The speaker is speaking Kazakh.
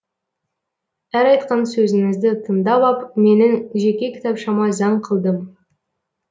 әр айтқан сөзіңізді тыңдап ап менің жеке кітапшама заң қылдым